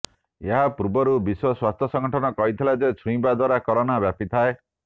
ଏହାପୂର୍ବରୁ ବିଶ୍ୱ ସ୍ୱାସ୍ଥ୍ୟ ସଙ୍ଗଠନ କହିଥିଲା ଯେ ଛୁଇଁବା ଦ୍ୱାରା କରୋନା ବ୍ୟାପିଥାଏ